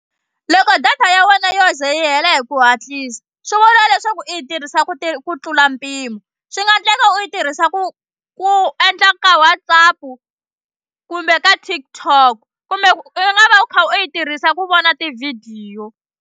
Loko data ya wena yo ze yi hela hi ku hatlisa swi vula leswaku i yi tirhisa ku ku tlula mpimo swi nga endleka u yi tirhisa ku ku endla ka WhatsApp kumbe ka TikTok kumbe u nga va u kha u yi tirhisa ku vona tivhidiyo.